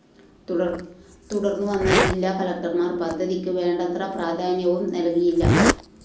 തുടര്‍ന്ന് വന്ന ജില്ലാ കളക്ടര്‍മാര്‍ പദ്ധതിക്ക് വേണ്ടത്ര പ്രാധാന്യവും നല്‍കിയില്ല